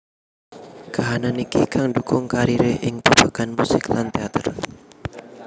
Kahanan iki kang ndhukung kariré ing babagan musik lan téater